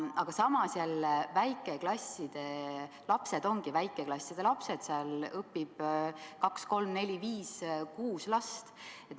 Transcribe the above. Aga samas väikeklasside lapsed ongi väikeklasside lapsed, seal õpib kaks-kolm-neli-viis-kuus last.